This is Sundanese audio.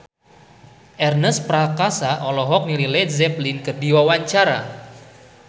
Ernest Prakasa olohok ningali Led Zeppelin keur diwawancara